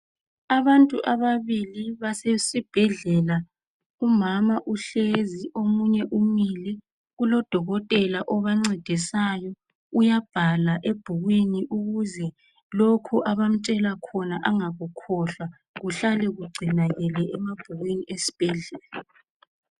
Abantu ababili basesibhedlela umama uhlezi omunye umile kulodokotela obangcedisayo uyabhala ebhukwini ukuze lokhu abamtshela khona bengakukhohlwa kuhlale kungcinakele emabhukwini awezibhedlela